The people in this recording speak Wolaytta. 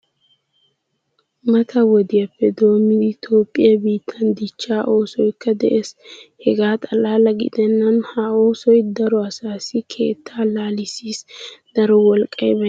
Mata wodiyappe dommidi toophphiyaa biittan dichchaa oosoykka de'ees. Hegaa xalaala gidenan ha oosoy daro asaasi keettaa laalisis. Daro wolqqay baynna asaykka wozanan kayottiis.